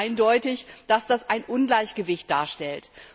Es ist ganz eindeutig, dass das ein Ungleichgewicht darstellt.